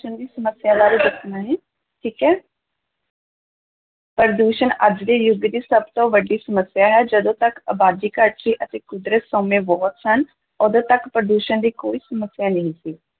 ਦੀ ਸਮੱਸਿਆ ਬਾਰੇ ਦੱਸਣਾ ਜੀ, ਠੀਕ ਹੈ ਪ੍ਰਦੂਸ਼ਣ ਅੱਜ ਦੇ ਯੁੱਗ ਦੀ ਸਭ ਤੋਂ ਵੱਡੀ ਸਮੱਸਿਆ ਹੈ, ਜਦੋਂ ਤੱਕ ਅਬਾਦੀ ਘੱਟ ਸੀ ਅਤੇ ਕੁਦਰਤੀ ਸੋਮੇ ਬਹੁਤੇ ਸਨ, ਉਦੋਂ ਤੱਕ ਪ੍ਰਦੂਸ਼ਣ ਦੀ ਕੋਈ ਸਮੱਸਿਆ ਨਹੀਂ ਸੀ।